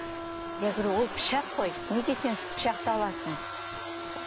я говорю ол пышақ қой неге сен пышақты аласың